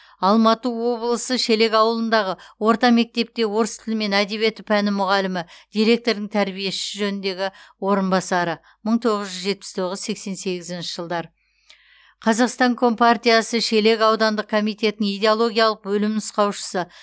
алматы облысы шелек ауылындағы орта мектепте орыс тілі мен әдебиеті пәні мұғалімі директордың тәрбие ісі жөніндегі орынбасары мың тоғыз жүз жетпіс тоғыз сексен сегізінші жылдар қазақстан компартиясы шелек аудандық комитетінің идеологиялық бөлім нұсқаушысы